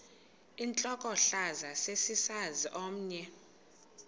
intlokohlaza sesisaz omny